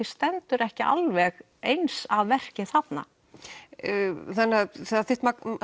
stendur ekki alveg eins að verki þarna þannig að það þitt